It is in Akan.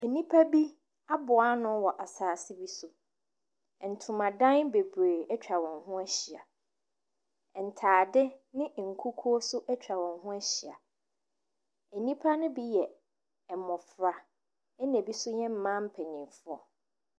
Nnipa bi aboa ano wɔ asase bi so. Ntomadan bebree atwa wɔn ho ahyia. Ntade ne nkukuo nso atwa wɔn ho ahyia. Nnipa no bi yɛ mmɔfra, ɛnna ebi nso yɛ mmaa mpanimfoɔ.